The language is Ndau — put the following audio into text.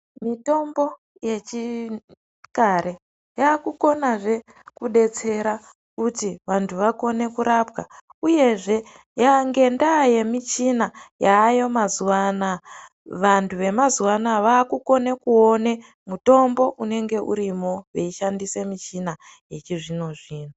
Mitombo yechikare yakukonazve kudetsera kuti vantu vakone kurapwa uyezve ngendaa yemichina yaayo mazuwanaya vantu vemazuwanaya vakukone kukone kuone mitombo inenge irimo vechishandisa michina yechizvino zvino.